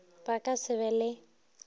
ba ka se be le